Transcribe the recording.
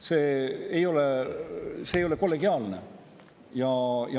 See ei ole kollegiaalne.